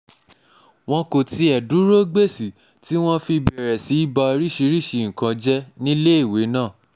wọn kò tiẹ̀ dúró gbèsì tí wọ́n fi bẹ̀rẹ̀ sí í ba oríṣirídìí nǹkan jẹ́ níléèwé náà